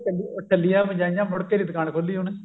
ਟੱਲੀ ਟੱਲੀਆਂ ਬਜਾਈਆਂ ਮੁੜਕੇ ਨੀ ਦੁਕਾਨ ਖੋਲੀ ਉਹਨੇ